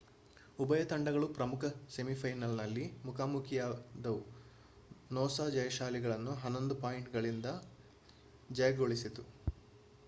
ಉಭಯ ತಂಡಗಳು ಪ್ರಮುಖ ಸೆಮಿಫೈನಲ್‌ನಲ್ಲಿ ಮುಖಾಮುಖಿಯಾದವು ನೂಸಾ ಜಯಶಾಲಿಗಳನ್ನು11 ಪಾಯಿಂಟ್‌ಗಳಿಂದ ಜಯಗಳಿಸಿತು